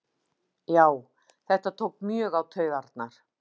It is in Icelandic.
Já þetta tók mjög á taugarnar